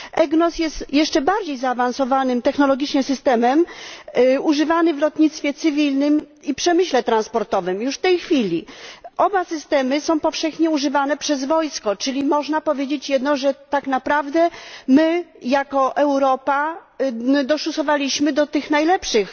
EGNOS jest jeszcze bardziej zaawansowanym technologicznie systemem, używany w lotnictwie cywilnym i przemyśle transportowym, już w tej chwili. Oba systemy są powszechnie używane przez wojsko, czyli można powiedzieć jedno że tak naprawdę my jako Europa dołączyliśmy do tych najlepszych.